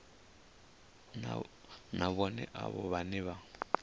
na vhohe avho vhane vha